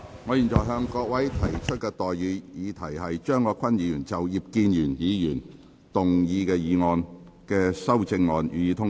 我現在向各位提出的待議議題是：張國鈞議員就葉建源議員議案動議的修正案，予以通過。